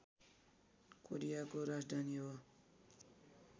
कोरियाको राजधानी हो